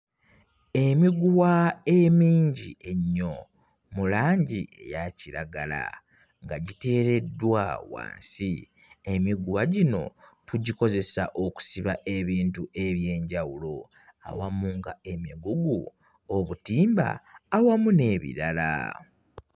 Emiguwa emingi ennyo mu langi eya kiragala nga giteereddwa wansi, emiguwa gino tugikozesa okusiba ebintu eby'enjawulo awamu nga emigugu, obutimba awamu n'ebirala.